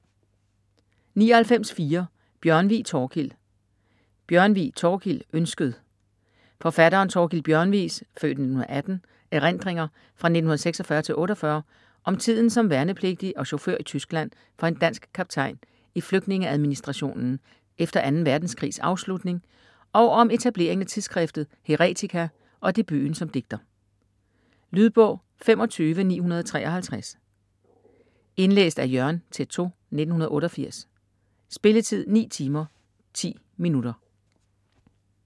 99.4 Bjørnvig, Thorkild Bjørnvig, Thorkild: Ønsket Forfatteren Thorkild Bjørnvigs (f. 1918) erindringer fra 1946-48 om tiden som værnepligtig og chauffør i Tyskland for en dansk kaptajn i flygtningeadministrationen efter 2. verdenskrigs afslutning og om etableringen af tidsskriftet "Heretica" og debuten som digter. Lydbog 25953 Indlæst af Jørgen Teytaud, 1988. Spilletid: 9 timer, 10 minutter.